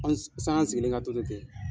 An sani an sigilen ka to ten ten.